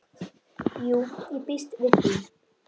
Jú, ég býst við því